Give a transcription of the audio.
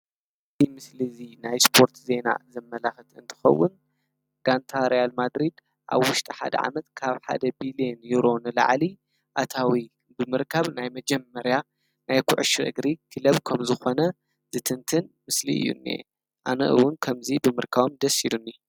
እዚ ምስሊ እዚ ናይ እሰፖርት ዜና ዘማላኽት እንትከውን ጋንታ ሪያል ማድሪድ ኣብ ውሽጢ ሓደ ዓመት ካብ ሓደ ብሊዮን ንሮ ንላዕሊ አታዊ ብምርካብ መጀመርያ ኩዕሾ እግሪ ክለብ ከም ዝኮነ ዝትንትን ምስሊ እዩ እኒሂ። ኣነ እውን ከምዚ ብምርካብ ደስ ኢሉኒ።